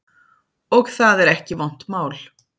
Og það er ekki vont mál.